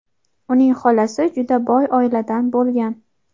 uning xolasi juda boy oiladan bo‘lgan.